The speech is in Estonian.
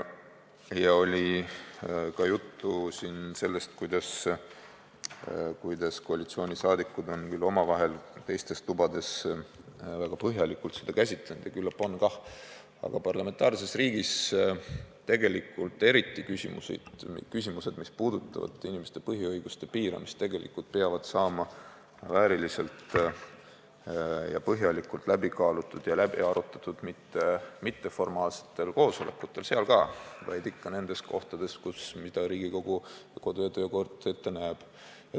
Juttu oli ka sellest, kuidas koalitsiooniliikmed on omavahel teistes tubades väga põhjalikult neid teemasid käsitlenud, ja küllap on kah, aga parlamentaarses riigis ei tule selliseid küsimusi, mis puudutavad inimeste põhiõiguste piiramist, vääriliselt ja põhjalikult läbi kaaluda ja läbi arutada mitte ainult mitteformaalsetel koosolekutel – seal ka –, vaid eelkõige nendes kohtades, mida Riigikogu kodu- ja töökord ette näeb.